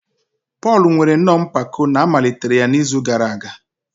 Pọl nwere nnọọ mpako na a malitere ya n'izu gara aga.